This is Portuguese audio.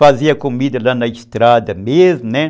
Fazia comida lá na estrada mesmo, né?